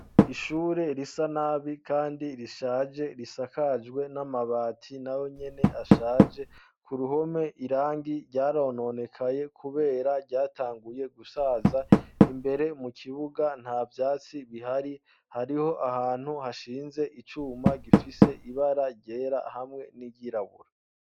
Ishure risa nabi kandi rishaje risakajwe n'amabati nayo nyene ashaje ku ruhome irangi ryarononekaye kubera ryatanguye gusaza imbere mu kibuga nta vyatsi bihari hariho ahantu hashinze icuma gifise ibara ryera hamwe n'iryirabura.